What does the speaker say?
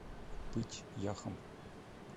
пыть яхом